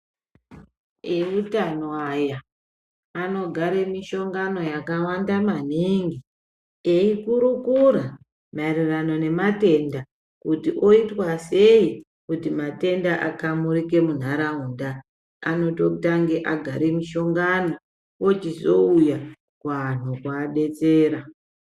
Eutano aya anogare mishongano yakawanda maningi eyikurukura maererano nematenda kuti oitwa sei kuti matenda akamurike munharaunda anototange agare mishongano ochizouya kuanhu kuabetsera.